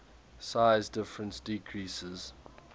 size difference decreases